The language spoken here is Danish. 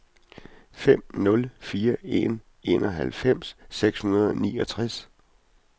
fem nul fire en enoghalvfems seks hundrede og niogtres